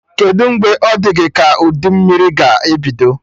Kedụ mgbe ọ dị gị ka udu mmiri ga ebido?